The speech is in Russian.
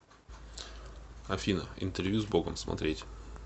афина интервью с богом смотреть